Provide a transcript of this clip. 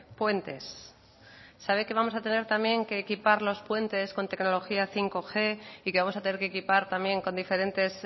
puentes sabe que vamos a tener también que equipar los puentes con tecnología bostg y que vamos a tener que equipar también con diferentes